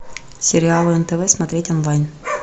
сериалы нтв смотреть онлайн